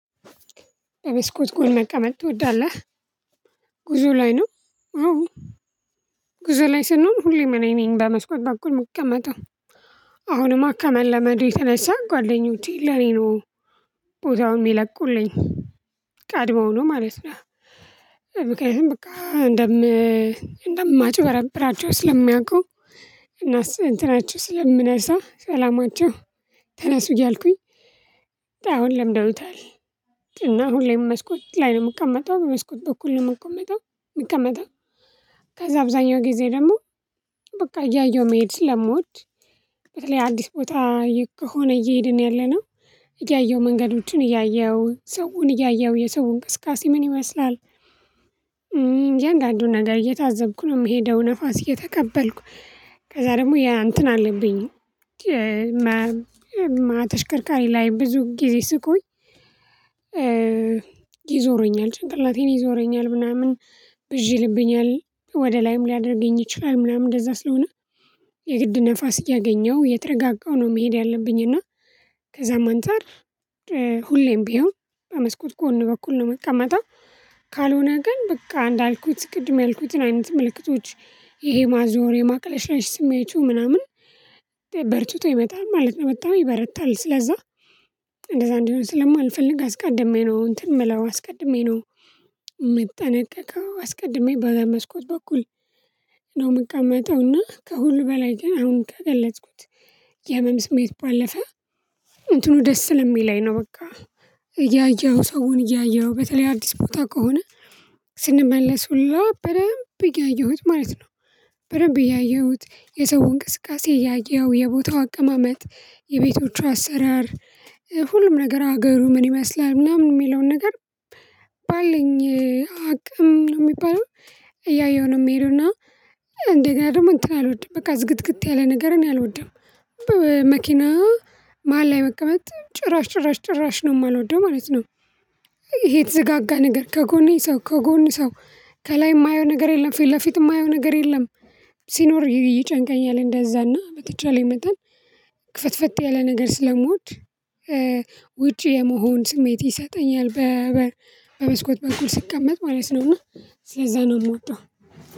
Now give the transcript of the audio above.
በበስኮት ጎን መቀመጥ ትወዳለህ? ጉዞ ላይ ነው። አዎ ጉዞ ላይ ስንሆን ሁሌም እኔን በመስኮት በኩል የምቀመጠው። አሁንም ከመለዱ የተነሳ ጓደኞቼ ለኔ ነው ቦታውን የሚለቁልኝ ቀድመው ነው ማለት ነው። ምክኒያቱም እንደም እንደማጭበረብራቸው ስለሚያውቁ እና እንትናቸው ስለምነሳ ሰላማቸው ተነሱ እያልኩኝ አሁን ለምደውታል። እና ሁሌም መስኮት ላይ ነው የምቀመጠው በመስኮት በኩል ነው የምቀመጠው። ከዛ አብዛኛው ጊዜ ደግሞ በቃ እያየው መሄድ ስለምወድ። በተለይ አዲስ ቦታ ከሆነ እየሄድን ያለነው እያየሁ መንገዶችን እያየሁ ሰውን እያየሁ የሰውን ቅስቃሴ ምን ይመስላል። ያንዳንዱን ነገር እየታዘብኩ ነው የምሄደው ንፋስ እየተቀበልኩ ከዛ ደግሞ ያ እንትን አለብኝ። ተሽከርካሪ ላይ ብዙ ጊዜ ስቆይ። ይዞረኛል ጭንቅላቴን ይዞረኛል ምናምን ብዥ ይልብኛል ወደ ላይም ሊያደርገኝ ይችላል ምናምን እንደዛ ስለሆነ። የግድ ንፋስ እያገኘሁ የተረጋጋሁ ነው መሄድ ያለብኝ እና። ከዛም አንተ መንጠር ሁሌም ቢሆን በመስኮት ጎን በኩል ነው የምቀመጠው። ካልሆነ ግን በቃ እንዳልኩት ቅድም ያልኩትን አይነት ምልክቶች ይሄ ማዞር የማቅለሽለሽ ስሜቱ ምናምን በርትቶ ይመጣል ማለት ነው በጣም ይበረታል ስለዛ። እንደዛ እንዲሆን ስለማልፈልግ አስቀድሜ ነው እንትን የምለው አስቀድሜ ነው። ምጠነቀው አስቀድሜ በመስኮት በኩል ነው የምቀመጠውና ከሁሉ በላይ ግን አሁን ከገለጽኩት። የህመም ስሜት ባለፈ እንትኑ ደስ ለሚለኝ ነው በቃ እያየኸው ሰውን እያየኸው በተለይ አዲስ ቦታ ከሆነ ስንመለስ ሁላ በደንብ ያየሁት ማለት ነው። በደንብ ያየሁት የሰውን ቅስቃሴ እያየው የቦታው አቀማመጥ የቤቶቹ አሰራር። ሁሉም ነገር ሀገሩ ምን ይመስላል ምናምን የሚለውን ነገር ባለኝ አቅም ነው የሚባለው። እያየሁ ነው የሚሄደው እና እንደገና ደግሞ እንትን አልወድም በቃ ዝግትግት ያለ ነገር እኔ አልወድም። በመኪና መሃል ላይ መቀመት ጭራሽ ጭራሽ ጭራሽ ነው የማልወደው ማለት ነው። ይሄ የተዘጋጋ ነገር ከጎኔ ሰው ከጎኔ ሰው ከላይ የማየው ነገር የለም ፊት ለፊት የማየው ነገር የለም። ሲኖር ይጨንቀኛል እንደዛና በተቻለ መጠን ክፍትፍት ያለ ነገር ስለምወድ። ውጪ የመሆን ስሜት ይሰጠኛል። በመስኮት በኩል ስቀመጥ ማለት ነውና ስለዛ ነው የምወጣው።